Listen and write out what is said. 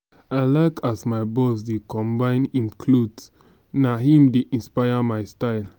i like as my boss dey combine im clothes na him dey inspire my style.